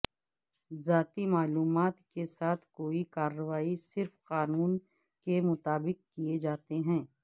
ذاتی معلومات کے ساتھ کوئی کارروائی صرف قانون کے مطابق کئے جاتے ہیں